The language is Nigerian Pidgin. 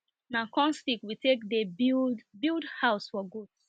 na corn stick we take dey build build house for goats